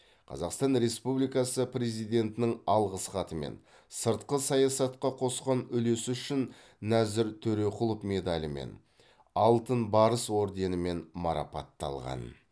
қазақстан республикасы президентінің алғыс хатымен сыртқы саясатқа қосқан үлесі үшін нәзір төреқұлов медалімен алтын барыс орденімен марапатталған